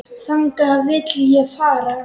Þangað vil ég fara.